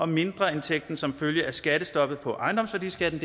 mindreindtægten som følge af skattestoppet på ejendomsværdiskatten